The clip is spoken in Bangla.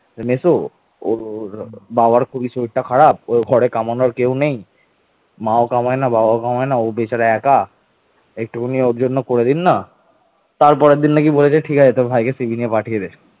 মহাসেন গুপ্তের পর তিনি বাংলার ক্ষমতা দখল করেন এবং গৌড়ের কর্ণসূবর্ণে তার রাজধানী স্থাপন করেন